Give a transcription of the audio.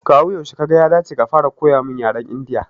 Kawu yaushe Kaga ya dace ka fara koya mun yaren Indiya?